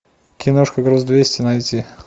киношка груз двести найти